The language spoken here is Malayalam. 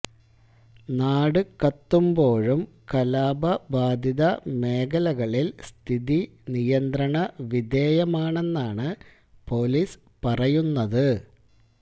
നാട് കത്തുമ്പോഴും കലാപ ബാധിത മേഖലളില് സ്ഥിതി നിയന്ത്രണ വിധേയമാണെന്നാണ് പൊലീസ് പറയുന്നത്